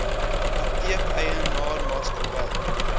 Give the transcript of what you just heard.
apteek eienaar maatskappy